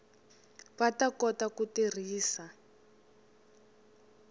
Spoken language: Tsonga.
va ta kota ku tirhisa